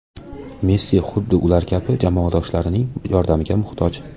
Messi xuddi ular kabi, jamoadoshlarining yordamiga muhtoj.